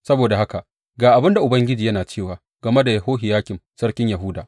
Saboda haka, ga abin da Ubangiji yana cewa game da Yehohiyakim sarkin Yahuda.